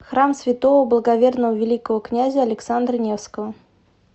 храм святого благоверного великого князя александра невского